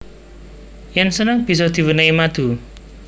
Yen seneng bisa diwenehi madu